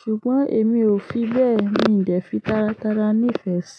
ṣùgbọ́n èmi ò fi bẹ́ẹ̀, mi ò dẹ̀ fi tátáralá nífẹ̀ẹ́ sí i.